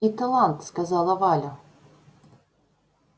и талант сказала валя